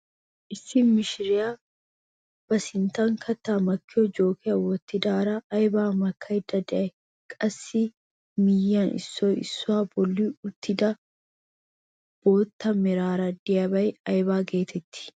Issi macca mishiriyaa ba sinttan kattaa makkiyoo jookiyaa wottadara aybaa makkayda de'ay? qassi miyiyaan issoy issuwaa bolli uttida nbootta meraara de'iyaagee ayba getettii?